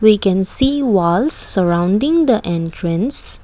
We can see walls surrounding the entrance.